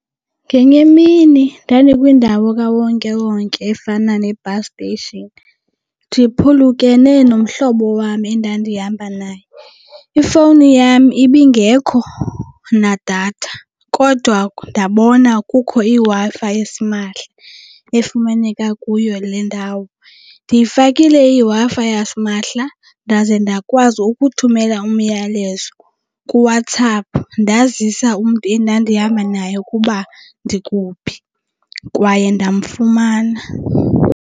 Ngenye imini ndandikwindawo kawonkewonke efana ne-bus station ndiphulukene nomhlobo wam endandihamba naye. Ifowuni yam ibingekho nadatha kodwa ndabona kukho iWi-Fi esimahla efumaneka kuyo le ndawo. Ndiyifakile iWi-Fi yasimahla ndaze ndakwazi ukuthumela umyalezo kuWhatsApp ndazisa umntu endandihamba naye ukuba ndikhuphi kwaye ndamfumana.